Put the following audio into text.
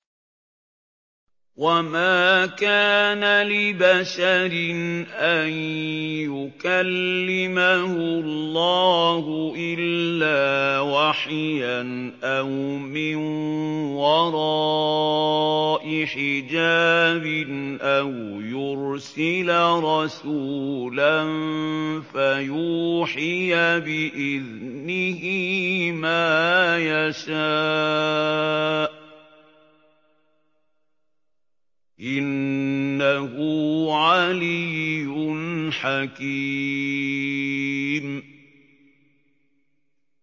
۞ وَمَا كَانَ لِبَشَرٍ أَن يُكَلِّمَهُ اللَّهُ إِلَّا وَحْيًا أَوْ مِن وَرَاءِ حِجَابٍ أَوْ يُرْسِلَ رَسُولًا فَيُوحِيَ بِإِذْنِهِ مَا يَشَاءُ ۚ إِنَّهُ عَلِيٌّ حَكِيمٌ